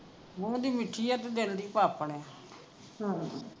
ਮੂੰਹ ਦੀ ਮੀਠੀ ਆ ਤੇ ਦਿਲ ਦੀ ਪਾਪਣ ਆ